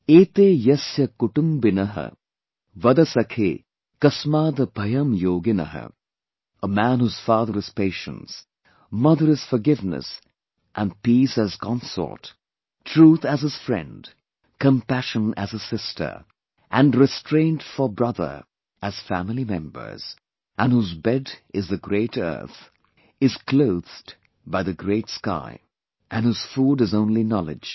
A man whose father is patience, mother is forgiveness and peace as consort, Truth as his friend, compassion as his sister and restraint for brother as family members and whose bed is the great earth, is clothed by the great sky and whose food is only knowledge